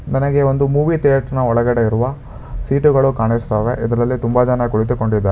ನನಗೆ ಒಂದು movie theatre ನ ಒಳಗಡೆ ಇರುವ ಸೀಟು ಗಳು ಕಾಣಿಸ್ತಾ ಇವೆ ಇದರಲ್ಲಿ ತುಂಬಾ ಜನ ಕುಳಿತುಕೊಂಡಿದ್ದಾರೆ.